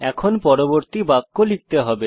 এখন আমাদের পরবর্তী বাক্য লিখতে হবে